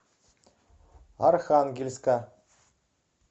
архангельска